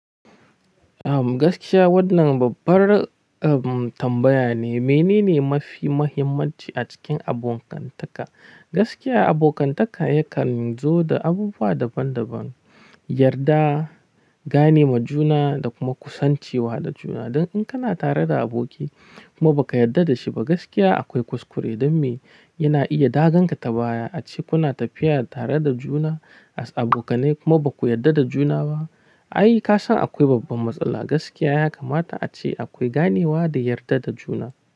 Gaskiya wannan babbar tambaya ne. Mene ne mafi muhimmanci a cikin abokantaka? Gaskiya abokantaka yakan zo da abubuwa daban daban, yarda, gane ma juna da kuma kusancewa da juna. Dan in kana tare da aboki kuma ba ka yarda da shi ba, gaskiya akwai kuskure don me yana iya daganka ta baya ace kuna tafiya tare da juna as abokanai kuma ba ku yarda da juna ba. Ai ka san akwai babban matsala. Gaskiya ya kamata ace akwai ganewa da yarda da juna.